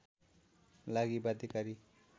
लागि बाध्यकारी